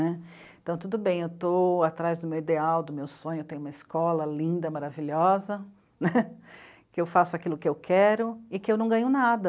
Então, tudo bem, eu estou atrás do meu ideal, do meu sonho, eu tenho uma escola linda, maravilhosa, né? Que eu faço aquilo que eu quero e que eu não ganho nada.